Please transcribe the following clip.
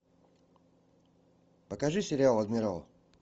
покажи сериал адмирал